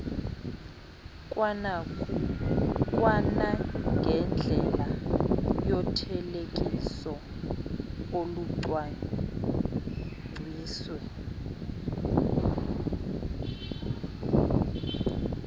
kwanangendlela yothelekiso olucwangciswe